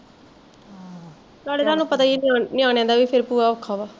ਤੁਹਾਡੇ ਤੁਹਾਨੂੰ ਪਤਾ ਵਾ ਨਿਆਣਿਆ ਦਾ ਵੀ ਫਿਰ ਭੂਆ ਔਖਾ ਵਾ